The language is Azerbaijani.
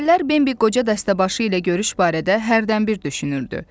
Əvvəllər Bembi qoca dəstəbaşı ilə görüş barədə hərdən bir düşünürdü.